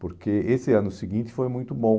Porque esse ano seguinte foi muito bom.